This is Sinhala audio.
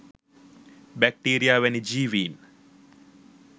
බැක්ටීරියා වැනි ජීවීන්